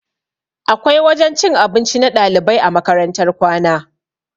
Akwai wajen cin abinci na ɗalibai a makarantar kwana